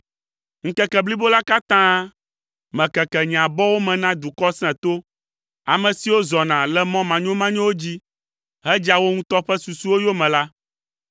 Ŋkeke blibo la katã mekeke nye abɔwo me na dukɔ sẽto, ame siwo zɔna le mɔ manyomanyowo dzi hedzea wo ŋutɔ ƒe susuwo yome la.